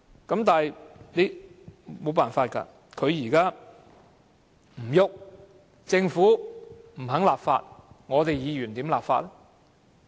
可是，沒有辦法，政府不肯立法，議員又如何立法呢？